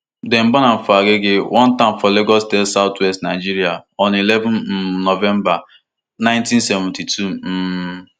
dem born am for agege one town for lagos state southwest nigeria on eleven um november one thousand, nine hundred and seventy-two um